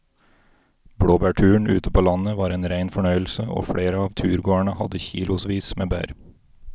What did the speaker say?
Blåbærturen ute på landet var en rein fornøyelse og flere av turgåerene hadde kilosvis med bær.